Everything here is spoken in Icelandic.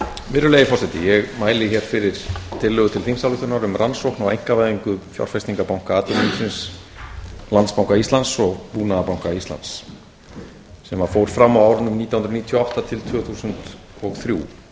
virðulegi forseti ég mæli hér fyrir tillögu til þingsályktunar um rannsókn á einkavæðingu fjárfestingarbanka atvinnulífsins landsbanka íslands og búnaðarbanka íslands sem fór fram á árunum nítján hundruð níutíu og átta til tvö þúsund og þrjú